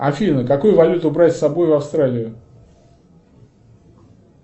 афина какую валюту брать с собой в австралию